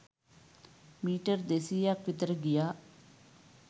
metre දෙසීයක් විතර ගියා